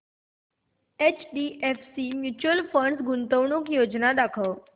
HDFC mutual fund गुंतवणूक योजना दाखव